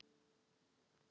Eitt er þó víst.